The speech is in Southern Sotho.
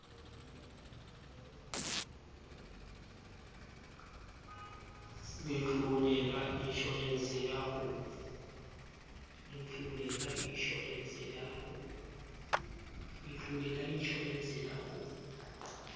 letlole la inshorense ya ho